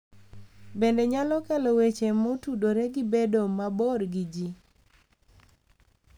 Bende nyalo kelo weche motudore gi bedo mabor gi ji